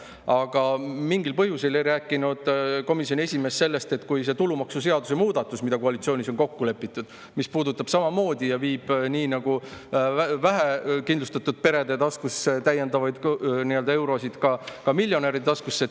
Aga mingil põhjusel ei rääkinud komisjoni esimees sellest, et see tulumaksuseaduse muudatus, mis koalitsioonis on kokku lepitud, viib peale vähekindlustatud perede täiendavaid eurosid ka miljonäride taskusse.